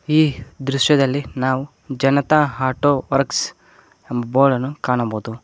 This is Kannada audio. ಈ ದೃಶ್ಯದಲ್ಲಿ ನಾವು ಜನತಾ ಆಟೋ ವರ್ಕ್ಸ್ ಎಂಬ ಬೋರ್ಡನ್ನು ಕಾಣಬಹುದು.